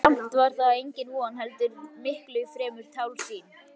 Og samt var það engin von heldur miklu fremur tálsýn.